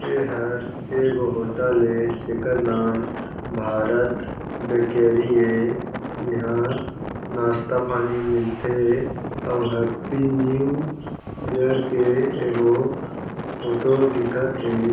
एहर ए गो होटल ए जेकर नाम भारत बेकरी हे यहाँ नास्ता पानी मिलथे अउ हैप्पी न्यू ईयर के एगो फोटो दिखत हे।